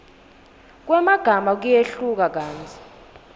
kwemagama kuyehluka kantsi